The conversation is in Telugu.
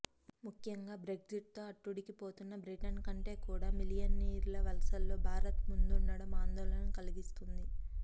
ముఖ్యంగా బ్రెగ్జిట్తో అట్టుడికిపోతున్న బ్రిటన్ కంటే కూడా మిలియనీర్ల వలసల్లో భారత్ ముందుండటం ఆందోళన కలిగిస్తున్నది